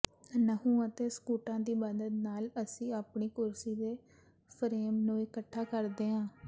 ਨਹੁੰ ਅਤੇ ਸਕੂਟਾਂ ਦੀ ਮਦਦ ਨਾਲ ਅਸੀਂ ਆਪਣੀ ਕੁਰਸੀ ਦੇ ਫਰੇਮ ਨੂੰ ਇਕੱਠਾ ਕਰਦੇ ਹਾਂ